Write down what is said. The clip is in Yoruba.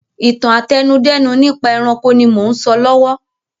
Ìtàn àtẹnudẹ́nu nípa ẹranko ni mò ún sọ lọ́wọ́